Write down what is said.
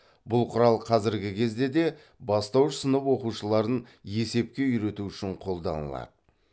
бұл құрал қазіргі кезде де бастауыш сынып оқушыларын есепке үйрету үшін қолданылады